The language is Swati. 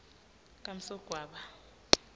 kamsogwaba